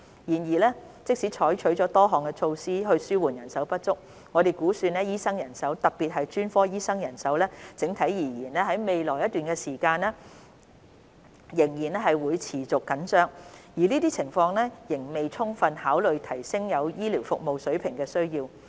然而，即使採取了多項措施紓緩人手不足，我們估算醫生人手——特別是專科醫生人手——整體而言，在未來一段長時間仍會持續緊張，而這情況仍未充分考慮提升現有醫療服務水平的需要。